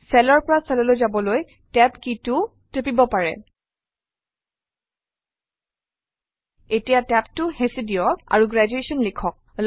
চেলৰ পৰা চেললৈ যাবলৈ TAB key টোও টিপিব পাৰে এতিয়া TAB টো হেঁচি দিয়ক আৰু গ্ৰেজুৱেশ্যন লিখক